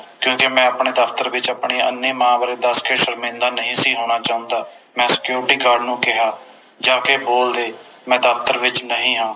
ਕਿਉਕਿ ਮੈਂ ਆਪਣੇ ਦਫਤਰ ਵਿਚ ਆਪਣੀ ਅੰਨ੍ਹੀ ਮਾਂ ਬਾਰੇ ਦਸ ਕੇ ਸ਼ਰਮਿੰਦਾ ਨਹੀਂ ਸੀ ਹੋਣਾ ਚਾਹੁੰਦਾ ਮੈਂ Security Guard ਨੂੰ ਕਿਹਾ ਜਾਕੇ ਬੋਲ ਦੇ ਮੈਂ ਦਫਤਰ ਵਿਚ ਨਹੀਂ ਹਾਂ